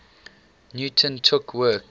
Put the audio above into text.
newton took work